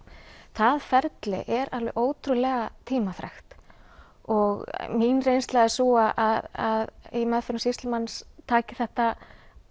það ferli er alveg ótrúlega tímafrekt og mín reynsla er sú að í meðferðum sýslumanns taki þetta